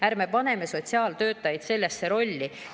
Ärme paneme sotsiaaltöötajaid sellesse rolli.